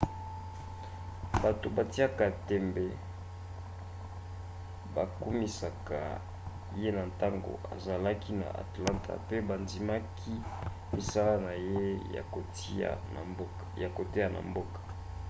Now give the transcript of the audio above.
bato batiaka tembe bakumisaka ye na ntango azalaki na atlanta mpe bandimaki misala na ye ya koteya na mboka